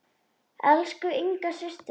Elsku Inga systir.